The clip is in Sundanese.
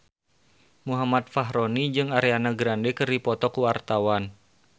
Muhammad Fachroni jeung Ariana Grande keur dipoto ku wartawan